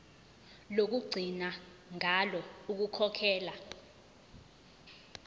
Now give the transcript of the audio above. lokugcina ngalo ukukhokhela